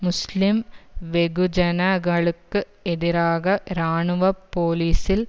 முஸ்லிம் வெகுஜன களுக்கு எதிராக இராணுவ போலிஸில்